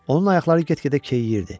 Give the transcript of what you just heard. Onun ayaqları get-gedə keyyirdi.